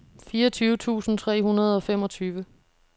fireogtyve tusind tre hundrede og femogtyve